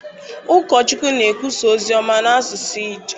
Ụkọchukwu na-ekwusa ozi ọma n’asụsụ Ijaw.